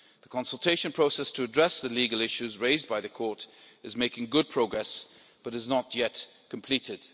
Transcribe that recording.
The consultation process to address the legal issues raised by the Court is making good progress, but is not yet completed.